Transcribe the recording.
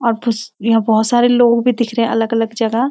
और बुस यहाँ बहुत सारे लोग भी दिख रहें हैं अलग-अलग जगह --